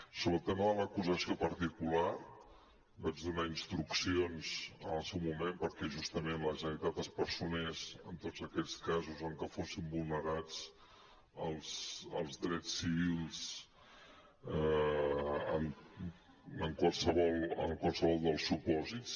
sobre el tema de l’acusació particular vaig donar instruccions en el seu moment perquè justament la generalitat es personés en tots aquells casos en què fossin vulnerats els drets civils en qualsevol dels supòsits